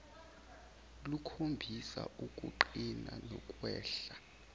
lukhombisa ukuqina nokwehla